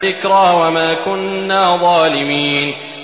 ذِكْرَىٰ وَمَا كُنَّا ظَالِمِينَ